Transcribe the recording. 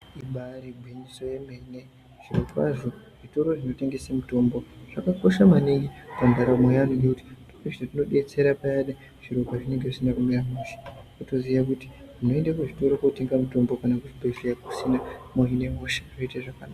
Ibaari gwinyiso yemene zvirokwazvo zvitoro zvinotengese mitombo zvakakosha maningi pandarambo yeantu ngekuti zvinodetsera payani zviro pazvinenge zvisina kumira mushe. Kutoziya kuti munoende kuzvitoro kootenga mutombo kana kuzvibhedhleya kusina, mohine hosha. Zviro zvoite zvakanaka.